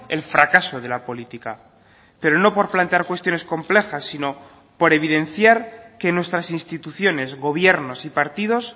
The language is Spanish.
el fracaso de la política pero no por plantear cuestiones complejas sino por evidenciar que nuestras instituciones gobiernos y partidos